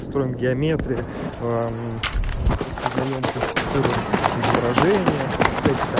строим геометрии распознаем классифицируем изображения всякие там